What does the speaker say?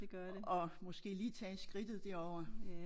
Og måske lige tage skridtet derover